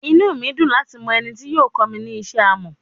Inu mi yoo dun lati mọ eni ti yoo kọ mi ni ṣiṣe amọ